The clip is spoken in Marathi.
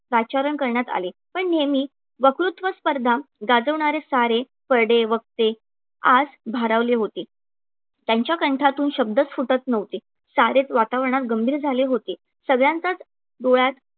पाचारण करण्यात आले. पण हेनी वक्तृत्व स्पर्धा गाजवणारे सारे करडे वक्ते आज भारावले होते. त्यांच्या कंठातून शब्दच फुटत नव्हते. सारेच वातावरणात गंभीर झाले होते. सगळ्यांचाच डोळ्यात